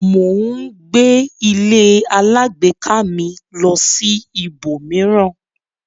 Mo ń gbé ílé alágbèéká mi lọ sí ibò mìíràn.